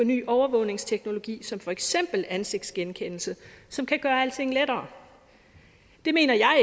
ny overvågningsteknologi som for eksempel ansigtsgenkendelse som kan gøre alting lettere det mener jeg